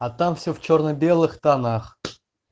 а там всё в чёрно-белых тонах